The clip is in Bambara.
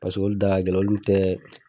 Paseke olu da gɛlɛ olu tɛ